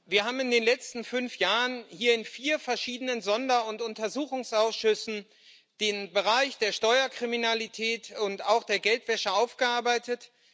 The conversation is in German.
Herr Präsident! Wir haben in den letzten fünf Jahren hier in vier verschiedenen Sonder und Untersuchungsausschüssen den Bereich der Steuerkriminalität und auch der Geldwäsche aufgearbeitet.